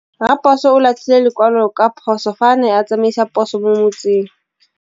Raposo o latlhie lekwalô ka phosô fa a ne a tsamaisa poso mo motseng.